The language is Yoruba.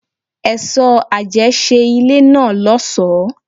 Èso àjẹ́ ṣe ilé náà lọ́sọ̀ọ́.